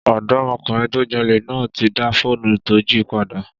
Ọ̀dọ́mọkùnrin tó jalè náà ti dá fóònù tó jí padà